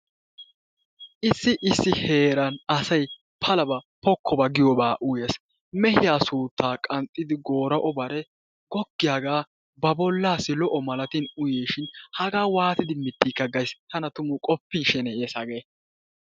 Issi issi heeran asay palaba pokkoba giyobaa uyees. Mehiya suuttaa qanxxidi goora''o bare goggiyagaa ba bollaassi lo"o malatin uyiishin hagaa waatidi mittiikaa gays. Tana tumu qoppin sheneyees hagee.